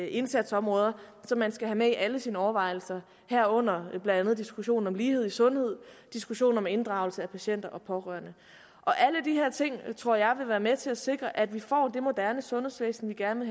indsatsområder som man skal have med i alle sine overvejelser herunder blandt andet diskussionen om lighed i sundhed diskussionen om inddragelse af patienter og pårørende alle de her ting tror jeg vil være med til at sikre at vi får det moderne sundhedsvæsen vi gerne